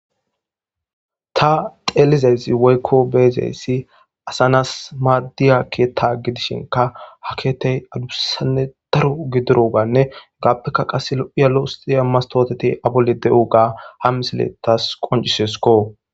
ta xeelizayssi woykko beezeyssi asanas maaddiya keeta gidishinka ha keetey adubusanne daro gidiroganne gaappeka qasse lu7iyalo usxiya mastooteti abolle de7u ga hammisile tas qoncisesko